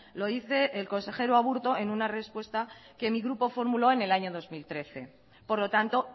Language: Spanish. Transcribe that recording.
lo dice el consejero aburto en una respuesta que mi grupo formuló en el año dos mil trece por lo tanto